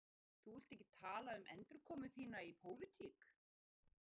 Fréttamaður: Þú vilt ekki tala um endurkomu þína í pólitík?